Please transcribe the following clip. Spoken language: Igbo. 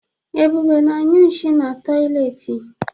Ebube na-anyụ nshi n'toịletị.